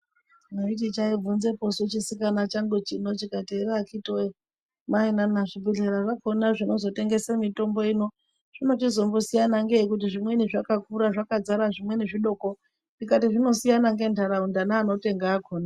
Mwaiti taibvunzepo su chisikana changu chine chikati ere akhiti wee maina zvibhedhlera zvakhona zvinozotengese mutombo ino zvinochizombosiyana ngei kuti zvimweni zvakakura zvakadzara zvimweni zvidoko ndikati zvinochizosiyana nentaraunda neantu akhona.